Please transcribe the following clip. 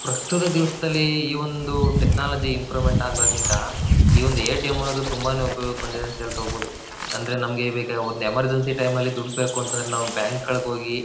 ಪ್ರಸ್ತುತ ದಿವ್ಸದಲ್ಲಿ ಈ ಒಂದು ಟೆಕ್ನಾಲಜಿ ಇಂಪ್ರೂವ್ಮೆಂಟ್ ಆದಾಗಿಂದ ಈ ಒಂದ್ ಎ ಟಿ ಎಂ ಅನ್ನೋದ್ ತುಂಬಾನೇ ಉಪಯೋಗಕ್ ಬಂದಿದೆ ಅಂತ ಹೆಳ್ಬೋದು ಅಂದ್ರೆ ನಮಗೆ ಈವಾಗ ಒಂದ್ ಎಮರ್ಜೆನ್ಸಿ ಟೈಮ್ ಅಲ್ ದುಡ್ ಬೇಕು ಅಂತಂದ್ರೆ ನಾವ್ ಬ್ಯಾಂಕ್ ಗಳ್ ಹೋಗಿ --